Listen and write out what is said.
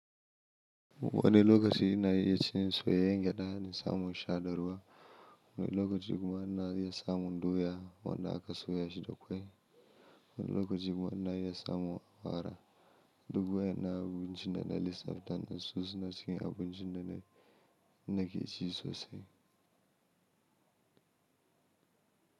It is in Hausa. Wani lokaci na iya cin soyayyen gyaɗa da samon sha da ruwa, wani lokaci kuma na iya samun doya wanda aka soya shi da ƙwai. Wani lokaci kuma na iya samun awara. Dubu yana abinci da na lissafta da su suna cikin abincin da na, da nake ci sosai.